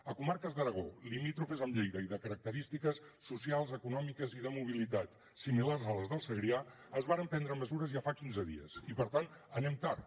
a comarques d’aragó limítrofes amb lleida i de característiques socials econòmiques i de mobilitat similars a les del segrià es varen prendre mesures ja fa quinze dies i per tant anem tard